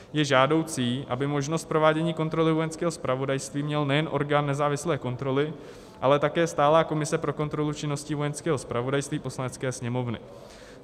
Je žádoucí, aby možnost provádění kontroly Vojenského zpravodajství měl nejen orgán nezávislé kontroly, ale také Stálá komise pro kontrolu činností Vojenského zpravodajství Poslanecké sněmovny.